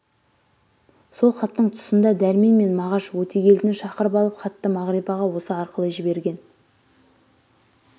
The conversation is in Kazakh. сол хаттың тұсында дәрмен мен мағаш өтегелдіні шақырып алып хатты мағрипаға осы арқылы жіберген